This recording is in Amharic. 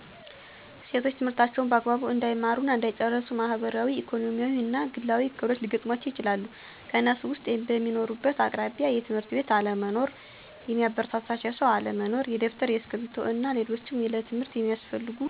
ሴቶች ትምህርታቸውን በአግባቡ እንዳይማሩ እና እንዳይጨርሱ ማህበራዊ፣ ኢኮኖሚያዊ እና ግላዊ እክሎች ሊገጥሙአቸው ይችላል። ከነሱም ውስጥ፦ በሚኖሩበት አቅራቢያ የ ትምህርት ቤት አለመኖር፣ የሚያበረታታቸው ሰው አለመኖር፣ የደብተር፤ እስክርቢቶ እና ሌሎችም ለትምህርት ሚያስፈልጉ ነገሮች ማሟያ ብር ማጣት፣ ያለ እድሜ ጋብቻ ይጠቀሳሉ።